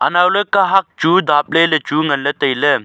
anaw le kahak chu daple le chu ngan le taile.